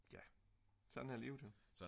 ja sådan er livet jo